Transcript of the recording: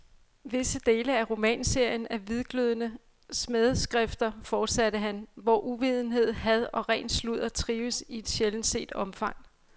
Visse dele af romanserien er hvidglødende smædeskrifter, fortsatte han, hvor uvidenhed, had og ren sludder trives i et sjældent set omfang.